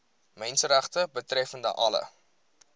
menseregte betreffende alle